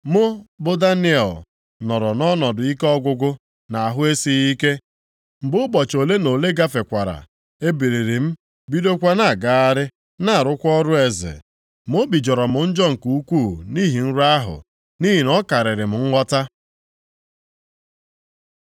Mụ bụ Daniel, nọrọ nʼọnọdụ ike ọgwụgwụ na ahụ esighị ike. Mgbe ụbọchị ole na ole gafekwara, ebiliri m bidokwa na-agagharị, na-arụkwa ọrụ eze, ma obi jọrọ m njọ nke ukwuu nʼihi nrọ ahụ, nʼihi na ọ karịrị m nghọta.